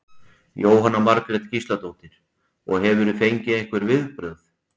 Jóhanna Margrét Gísladóttir: Og hefurðu fengið einhver viðbrögð?